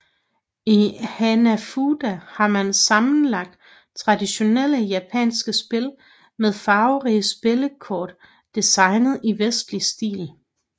I Hanafuda har man sammenlagt traditionelle japanske spil med farverige spillekort designet i vestlig stil